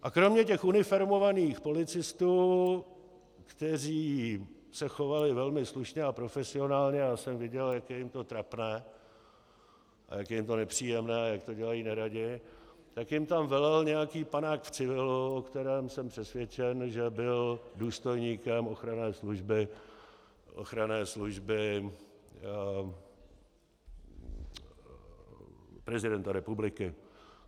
A kromě těch uniformovaných policistů, kteří se chovali velmi slušně a profesionálně, já jsem viděl, jak je jim to trapné a jak je jim to nepříjemné, jak to dělají neradi, tak jim tam velel nějaký panák v civilu, o kterém jsem přesvědčen, že byl důstojníkem ochranné služby prezidenta republiky.